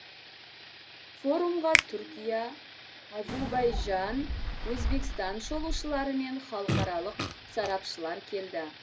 форумға түркия әзербайжан өзбекстан шолушылары мен халықаралық сарапшылар келді